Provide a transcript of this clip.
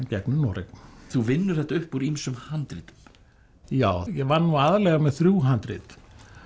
gegnum Noreg þú vinnur þetta upp úr ýmsum handritum já ég vann nú aðallega með þrjú handrit